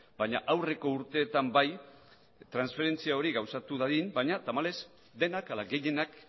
baina aurreko urteetan bai transferentzia hori gauzatu dadin baina tamalez denak ala gehienak